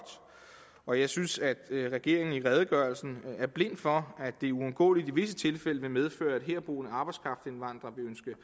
og jeg synes at regeringen i redegørelsen er blind for at det uundgåeligt i visse tilfælde vil medføre at herboende arbejdskraftindvandrere